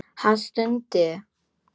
Hann stundi.